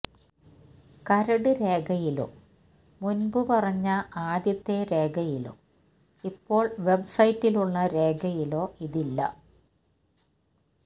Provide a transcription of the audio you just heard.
കരട് രേഖയിലോ മുൻപ് പറഞ്ഞ ആദ്യത്തെ രേഖയിലോ ഇപ്പോൾ വെബ്സൈറ്റിലുള്ള രേഖയിലോ ഇതില്ല